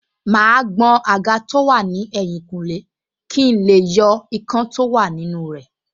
Màá gbọn àga tó wà ní ẹ̀yìnkùlé kí n lè yọ ikán tó wà nínú rẹ̀